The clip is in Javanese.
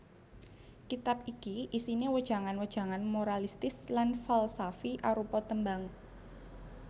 Kitab iki isiné wejangan wejangan moralistis lan falsafi arupa tembang